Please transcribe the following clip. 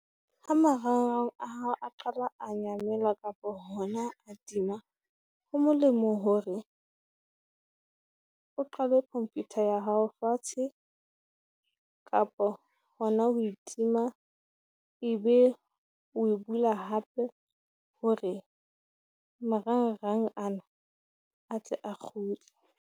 Ha marangrang a hao a qala a nyamela kapo hona a tima, ho molemo hore o qalwe computer ya hao fatshe, kapo hona ho e tima. Ebe o e bula hape hore marangrang ana a tle a kgutle.